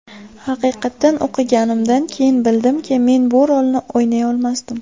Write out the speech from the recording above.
Haqiqatan o‘qiganimdan keyin bildimki, men bu rolni o‘ynay olmasdim.